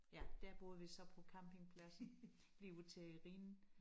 Ja der boede vi så på campingpladsen lige ud til Rhinen